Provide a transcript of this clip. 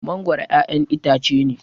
mangoro ƴaƴan itace ne